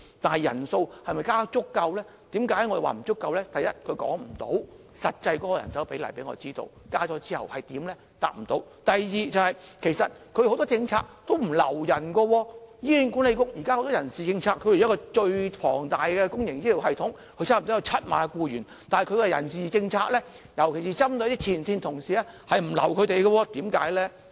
第一，政府無法告訴我們增加撥款之後，實際的人手比例，是無法回答的；第二，政府很多政策也不留人，醫管局作為最龐大的公營醫療系統，差不多有7萬名僱員，但根據其人事政策，尤其是針對前線同事，是不會挽留他們的，為甚麼呢？